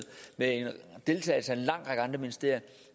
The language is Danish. med deltagelse fra en lang række andre ministerier